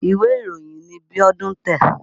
Ìwé ìròyìn ni Bíọ́dún ń tẹ̀.